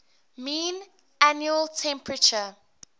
mean annual temperature